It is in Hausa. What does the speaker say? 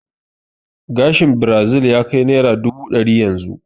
Gashin birazil ya kai naira dubu ɗari yanzu